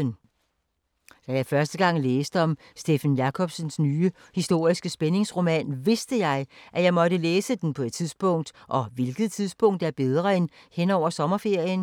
Da jeg første gang læste om Steffen Jacobsens nye historiske spændingsroman, vidste jeg, at jeg måtte læse den på et tidspunkt, og hvilket tidspunkt er bedre end hen over sommerferien?